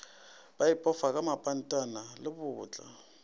ba ipofa ka mapantana lebotla